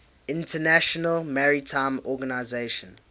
international maritime organization